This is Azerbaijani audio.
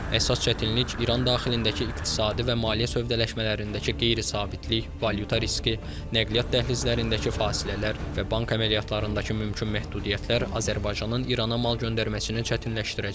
Əsas çətinlik İran daxilindəki iqtisadi və maliyyə sövdələşmələrindəki qeyri-sabitlik, valyuta riski, nəqliyyat dəhlizlərindəki fasilələr və bank əməliyyatlarındakı mümkün məhdudiyyətlər Azərbaycanın İrana mal göndərməsini çətinləşdirəcək.